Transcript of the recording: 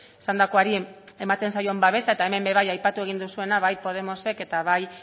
esandakoari ematen zaion babesa eta hemen be bai aipatu egin duzuena bai podemosek eta bai